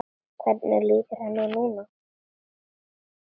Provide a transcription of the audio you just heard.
Hvernig líður henni núna?